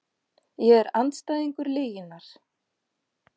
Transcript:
Ég er andstæðingur lyginnar.